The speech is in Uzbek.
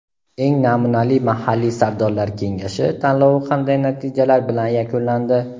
"Eng namunali mahalliy Sardorlar Kengashi" tanlovi qanday natijalar bilan yakunlandi?.